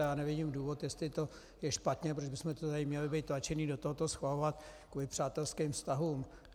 A já nevidím důvod, jestli to je špatně, proč bychom tady měli být tlačeni do toho to schvalovat kvůli přátelským vztahům.